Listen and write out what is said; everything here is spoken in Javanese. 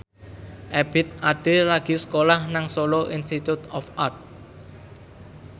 Ebith Ade lagi sekolah nang Solo Institute of Art